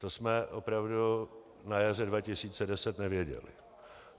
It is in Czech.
To jsme opravdu na jaře 2010 nevěděli.